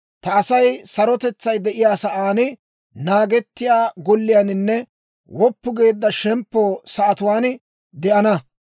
Ta Asay sarotetsay de'iyaa sa'aan, naagettiyaa golliyaaninne woppu geedda shemppo sa'atuwaan de'ana.